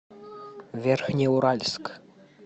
верхнеуральск